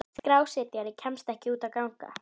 Skrásetjari kemst ekki út að ganga.